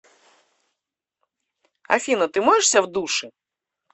афина ты моешься в душе